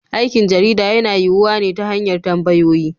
Aikin jarida yana yiyuwa ne ta hanyar tambayoyi.